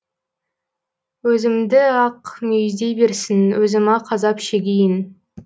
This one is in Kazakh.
өзімді ақ мүйіздей берсін өзім ақ азап шегейін